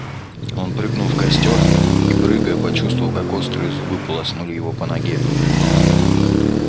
он прыгнул в костёр и прыгая почувствовал как острые зубы полоснули его по ноге